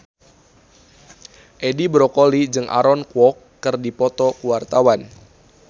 Edi Brokoli jeung Aaron Kwok keur dipoto ku wartawan